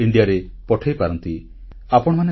incredible Indiaରେ ପଠାଇପାରନ୍ତି